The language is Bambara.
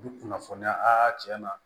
U bi kunnafoniya tiɲɛ na